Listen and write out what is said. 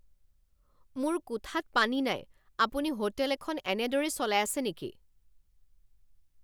মোৰ কোঠাত পানী নাই! আপুনি হোটেল এখন এনেদৰেই চলাই আছে নেকি?